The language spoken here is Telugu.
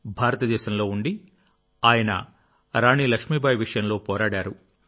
భారతదేశంలో ఉండి ఆయన రాణి లక్ష్మీబాయి విషయంలో పోరాడాడు